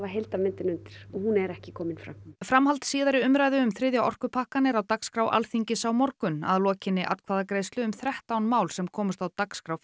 heildarmyndina undir og hún er ekki komin fram framhald síðari umræðu um þriðja orkupakkann er á dagskrá Alþingis á morgun að lokinni atkvæðagreiðslu um þrettán mál sem komust á dagskrá